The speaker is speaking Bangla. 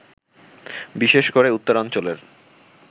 বিশেষ করে উত্তরাঞ্চলের